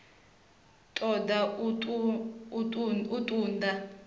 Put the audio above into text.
ṱo ḓa u ṱun ḓa